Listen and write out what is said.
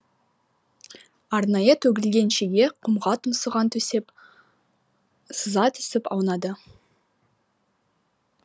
арнайы төгілген шеге құмға тұмсыған төсеп сыза түсіп аунады